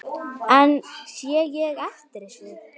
En sé ég eftir þessu?